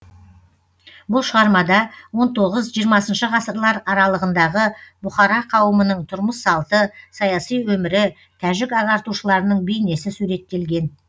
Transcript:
бұл шығармада он тоғыз жиырмасыншы ғасырлар аралығындағы бұхара қауымының тұрмыс салты саяси өмірі тәжік ағартушыларының бейнесі суреттелген